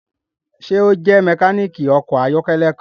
Ṣe o jẹ mekaniki ọkọ ayọkẹlẹ kan?